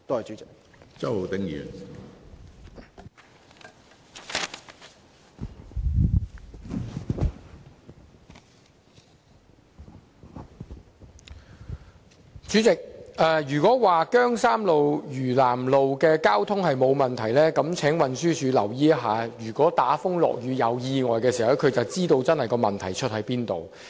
主席，如果運輸署認為姜山道、嶼南道的交通沒有問題，那麼該署只要留意打風落雨時發生的交通意外，便會知道問題的癥結。